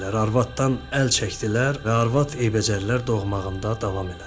Arvaddan əl çəkdilər və arvad eybəcərlər doğmağında davam elədi.